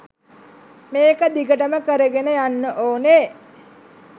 මේක දිගටම කරගෙන යන්න ඕනෙ